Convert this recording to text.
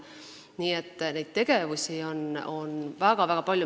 Nii et neid tegevusi on väga-väga palju.